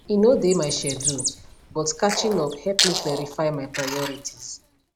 e no dey my schedule but catching up help me clarify my priorities